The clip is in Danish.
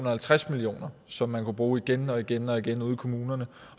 og halvtreds million kr som man kunne bruge igen og igen og igen ude i kommunerne